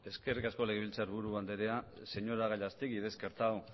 eskerrik asko legebiltzarburu andrea señora gallastegui he descartado